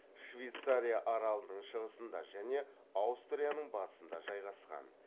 швейцария аралының шығысында және аустрияның батысында жайғасқан